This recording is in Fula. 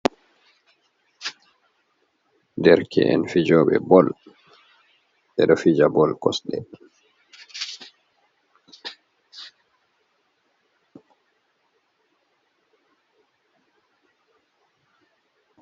Derke'en fijooɓe bol, ɓe do fija bol kosɗe